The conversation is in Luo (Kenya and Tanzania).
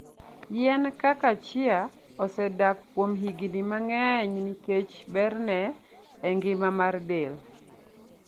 Yien kaka chia osedak kuom higni mang'eny nikech berne e ngima mar del.